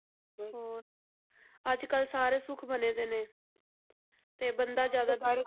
ਹੋਰ ਅੱਜ ਕੱਲ੍ਹ ਸਾਰੇ ਸੁੱਖ ਬਣਦੇ ਨੇ ਤੇ ਬੰਦਾ ਜ਼ਿਆਦਾਤਰ